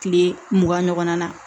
Kile mugan ɲɔgɔnna na